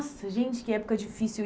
Nossa, gente, que época difícil.